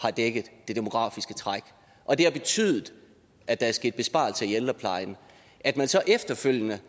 har dækket det demografiske træk og det har betydet at der er sket besparelser i ældreplejen at man så efterfølgende